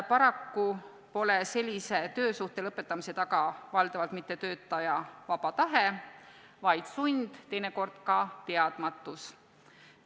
Paraku pole sellise töösuhtelõpetamise taga valdavalt mitte töötaja vaba tahe, vaid sund, teinekord ka teadmatus.